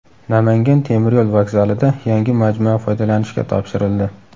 Namangan temiryo‘l vokzalida yangi majmua foydalanishga topshirildi.